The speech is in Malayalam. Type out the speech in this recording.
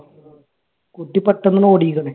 കുട്ടി പെട്ടെന്നാണ് ഓടിയെക്കണ്.